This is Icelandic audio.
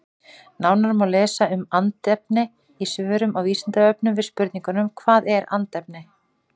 Nánar má lesa um andefni í svörum á Vísindavefnum við spurningunum Hvað er andefni?